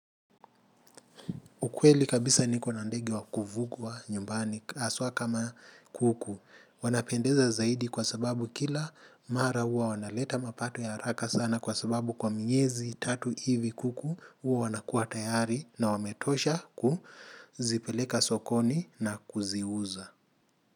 Kwa kweli kabisa nikona ndege wakufugwa nyumbani haswa kama kuku. Wanapendeza zaidi kwa sababu kila mara huwa wanaleta mapato ya haraka sana kwa sababu kwa miezi tatu hivi kuku huwa wanakua tayari na wametosha kuzipeleka sokoni na kuziuza.